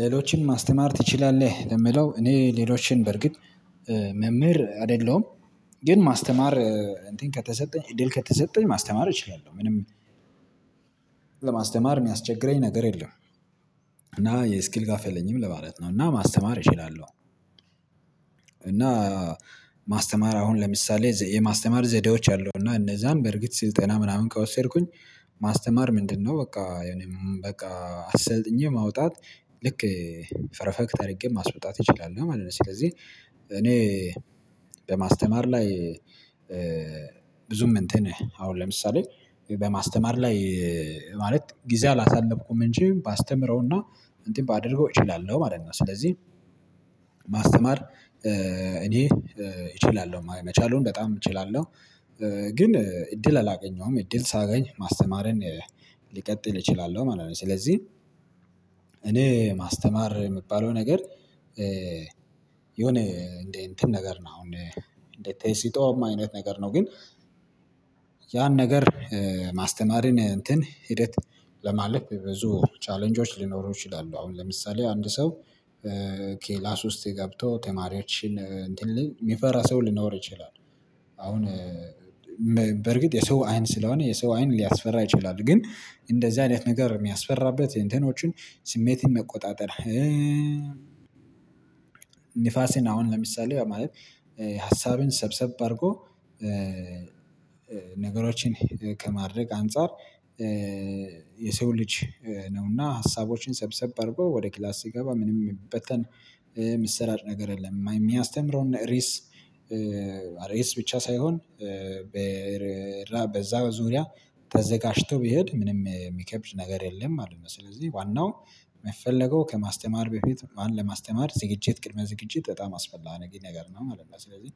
ሌሎችን ማስተማር ትችላለህ? የምለው እኔ ሌሎችን በርግጥ መምህር አይደለሁም ግን ማስተማር ከተሰጠኝ እድል ከተሰጠኝ ማስተማር እችላለሁ። ምንም ለማስተማር የሚያስቸግረኝ ነገር የለም። እና የስኪል ጋፕ የለኝም ለማለት ነው እና ማስተማር እችላለሁ። እና ማስተማር አሁን ለምሳሌ፦ የማስተማር ዘዴዎች አሉ እና እነዛን በርግጥ ስልጠና ምናምን ከወሰድኩኝ ማስተማር ምንድነው በቃ በቃ አሰልጥኜ ማውጣት ልክ ፔሬፌክት አድርጌ ማስወጣት እችላለሁ ማለት ነው። ስለዚህ እኔ በማስተማር ላይ ብዙም እንትን አሁን ለምሳሌ በማስተማር ላይ ማለት ጊዜ አላሳለፍኩም። እንጂ ባስተምረውና እንትን ባደርገው እችላለሁ ማለት ነው። ስለዚህ ማስተማር እኔ እችላለሁ። መቻሉን በጣም እችላለሁ። ግን እድል አላገኘሁም እድል ሳገኝ ማስተማርን ሊቀጥል እችላለሁ ማለት ነው። ስለዚህ እኔ ማስተማር የምባለው ነገር የሆነ እንዴ እንትን ነገር ነው። አሁን እንዴ ተስጦኸም አይነት ነገር ነው ፈ። ግን ያን ነገር ማስተማርን እንትን ሂደት ለማለት ብዙ ቻሌንጆች ሊኖሩ ይችላሉ። አሁን ለምሳሌ አንድ ሰው ኬላስ ውስጥ ገብቶ ተማሪዎችን እንትን የሚፈራ ሰው ሊኖር ይችላል። አሁን በርግጥ የሰው አይን ስለሆነ የሰው አይን ሊያስፈራ ይችላል። ግን እንደዚህ አይነት ነገር የሚያስፈራበት እንትኖችን ስሜትን መቆጣጠር ንፋስን አሁን ለምሳሌ ማለት ሀሳብን ሰብሰብ አድርጎ ነገሮችን ከማድረግ አንፃር የሰው ልጅ ነውና ሀሳቦችን ሰብሰብ አድርጎ ወደ ክላስ ሲገባ ምንም የሚበተን ምሰራጭ ነገር የለም የሚያስተምረው እነ ርስ ርስ ብቻ ሳይሆን በዛ ዙሪያ ተዘጋጅቶ ቢሄድ ምንም የሚከብድ ነገር የለም ማለት ነው። ስለዚህ ዋናው የምትፈልገው ከማስተማር በፊት ማን ለማስተማር ዝግጅት ቅድመ ዝግጅት በጣም አስፈላጊ ነገር ነው ማለት ነው። ስለዚህ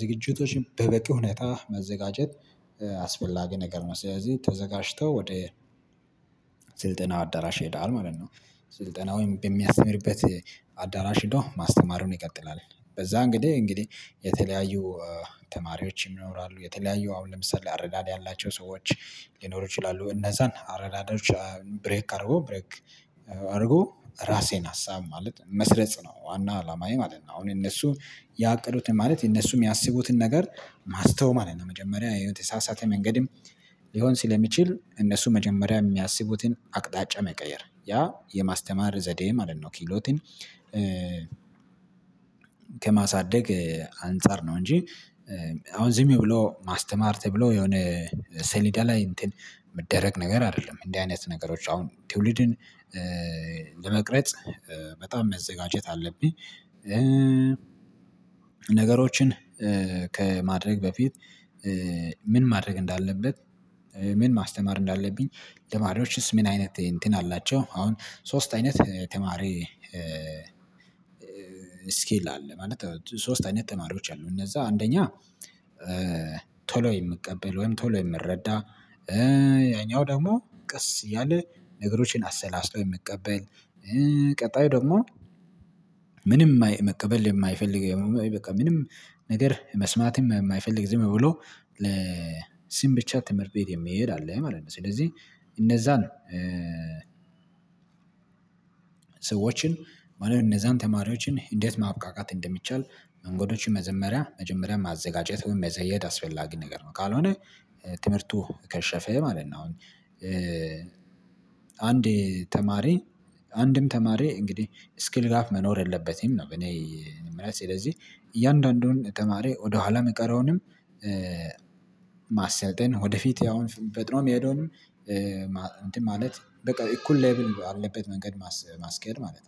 ዝግጅቶች በበቂ ሁኔታ መዘጋጀት አስፈላጊ ነገር ነው። ስለዚህ ተዘጋጅተው ወደ አዳራሽ ይሄደል ማለት ነው። ስልጠና ወይም በሚያስተምርበት አዳራሽ ሄዶ ማስተማሩን ይቀጥላል። በዛ እንግዲህ እንግዲህ የተለያዩ ተማሪዎች ይኖራሉ። የተለያዩ አሁን ለምሳሌ አረዳድ ያላቸው ሰዎች ሊኖሩ ይችላሉ። እነዛን አረዳዳዎች ብሬክ አድርጎ ብሬክ አድርጎ ራሴን ሀሳብ ማለት መስረጽ ነው። ዋና አላማዬ ማለት ነው አሁን እነሱ ያቀዱት ማለት እነሱም ያሰቡትን ነገር ማስተው ማለት ነው። መጀመሪያ የተሳሳተ መንገድም ሊሆን ስለሚችል እነሱ መጀመሪያ የሚያስቡትን አቅጣጫ መቀየር ያ የማስተማር ዘዴ ማለት ነው። ኪሎትን ከማሳደግ አንፃር ነው። እንጂ አሁን ዝም ብሎ ማስተማር ተብሎ የሆነ ሰሊዳ ላይ እንትን የሚደረግ ነገር አይደለም። እንዲህ አይነት ነገሮች አሁን ትውልድን ለመቅረጽ በጣም መዘጋጀት አለብኝ። ነገሮችን ከማድረግ በፊት ምን ማድረግ እንዳለበት ምን ማስተማር እንዳለብኝ ልማዶችስ ምን አይነት እንትን አላቸው። አሁን ሶስት አይነት ተማሪ ስኬል አለ። ማለት ሶስት አይነት ተማሪዎች አሉ እነዛ አንደኛ ቶሎ የምቀበል ወይም ቶሎ የምረዳ ያኛው ደግሞ ቀስ እያለ ነገሮችን አሰላስሎ የምቀበል ቀጣዩ ደግሞ ምንም መቀበል የማይፈልግ በቃ ምንም ነገር መስማትም የማይፈልግ ዝም ብሎ ለሲም ብቻ ትምህርት ቤት የምሄድ አለ ማለት ነው። ስለዚህ እነዛ ነው እነዛን ሰዎችን ማለት እነዛን ተማሪዎችን እንዴት ማብቃቃት እንደሚቻል መንገዶችን መጀመሪያ ማዘጋጀት ወይም መዘየድ አስፈላጊ ነገር ነው። ካልሆነ ትምህርቱ ከሸፈ ማለት ነው። አሁን አንዴ ተማሪ አንድም ተማሪ እንግዲህ ስኪል ጋፕ መኖር የለበትም ነው። ስለዚህ እያንዳንዱን ተማሪ ወደኋላ የምቀረውንም ማሰልጠን ወደፊት ያውን ፈጥኖ የሚሄደውንም እንትን ማለት በቃ እኩል ሌቭል በለበት መንገድ ማስኬድ ማለት ነው።